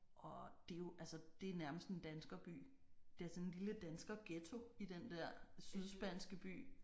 Og det er jo altså det er nærmest en danskerby. Det er sådan en lille danskerghetto i den der sydspanske by